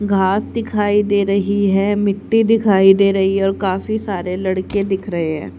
घास दिखाई दे रही है मिट्टी दिखाई दे रही है और काफी सारे लड़के दिख रहे हैं।